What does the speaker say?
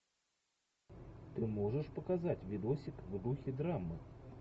ты можешь показать видосик в духе драмы